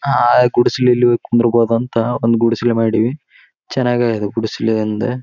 ಅಹ್ ಗುಡಿಸಲಲ್ಲಿ ಹೋಗಿ ಕುಂದ್ರ್ ಬಹುದಂಥ ಒಂದ್ ಗುಡಿಸಲು ಮಾಡಿವಿ ಚೆನ್ನಾಗಿ ಆಗ್ಯದ ಗುಡಿಸಲು ಅಂದ.